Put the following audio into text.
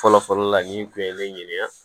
Fɔlɔ fɔlɔ la nin kun ye ne ɲininka